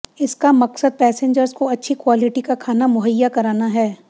इसका मकसद पैसेंजर्स को अच्छी क्वॉलिटी का खाना मुहैया कराना है